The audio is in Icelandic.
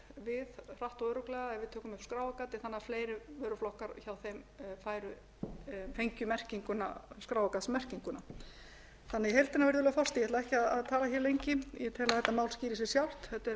við hratt og örugglega ef við tökum upp skráargatið þannig að fleiri vöruflokkar hjá þeim fengju skráargatsmerkinguna ég ætla ekki virðulegi forseti að tala lengi ég tel að þetta mál skýri sig sjálft þetta er að mínu mati